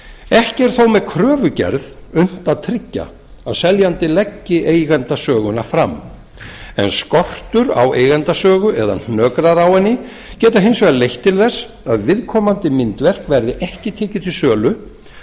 ekki er þó með kröfugerðinni unnt að tryggja að seljandi leggi eigendasöguna fram en skortur á eigendasögu eða hnökrar á henni geta hins vegar leitt til þess að viðkomandi myndverk verði ekki tekið til sölu